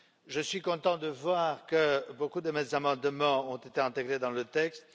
Je suis content de voir que beaucoup de mes amendements ont été intégrés dans le texte.